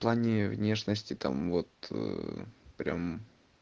плане внешности там вот прям